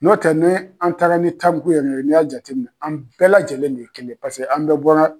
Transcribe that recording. N'o tɛ ne an taara ni tariku yɛrɛ ye, n y'a jateminɛ, an bɛɛ lajɛlen de kelen paseke an bɛɛ bɔra.